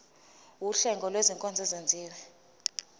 wuhlengo lwezinkonzo ezenziwa